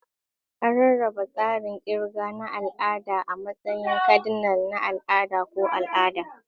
An rarraba tsarin kirga na al'ada a matsayin kadinal, na al'ada, ko al'ada.